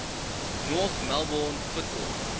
north melbourne football